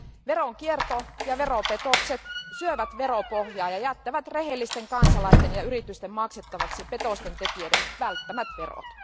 Veronkierto ja veropetokset syövät veropohjaa ja jättävät rehellisten kansalaisten ja yritysten maksettavaksi petosten tekijöiden välttämät verot.